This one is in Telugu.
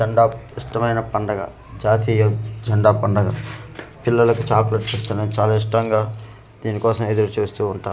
జండా ఇష్టమైన పండుగ జాతీయ జెండా పండగ పిల్లలకు చాక్లెట్ ఇస్తారని చాలా ఇష్టంగా దీని కోసం ఎదురు చూస్తూ ఉంటా--